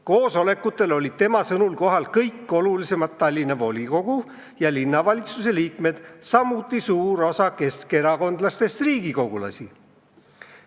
Koosolekutel olid tema sõnul kohal kõik olulisemad Tallinna linnavolikogu ja linnavalitsuse liikmed, samuti suur osa keskerakondlastest riigikogulasi.